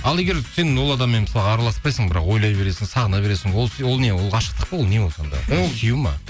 ал егер сен ол адаммен мысалы араласпайсың бірақ ойлай бересің сағына бересің ол не ғашықтық па ол не сонда сүю ме